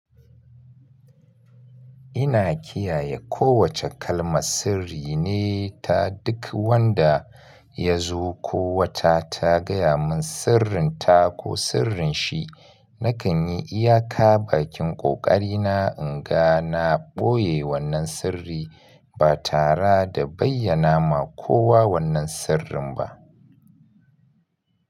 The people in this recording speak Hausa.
Ina kiyaye kowace kalmar sirri ne ta duk wanda ya zo ko wata ta gaya mun sirrin ta ko sirrin shi. Nakan yi iyaka bakin ƙoƙari na, inga na ɓoye wannan sirri, ba tara da bayyana ma kowa wannan sirrin ba.